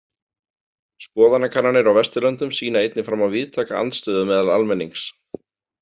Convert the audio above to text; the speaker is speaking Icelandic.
Skoðanakannanir á Vesturlöndum sýna einnig fram á víðtæka andstöðu meðal almennings.